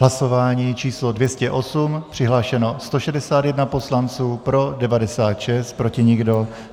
Hlasování číslo 208, přihlášeno 161 poslanců, pro 96, proti nikdo.